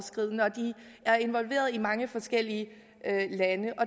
de er involveret i mange forskellige lande og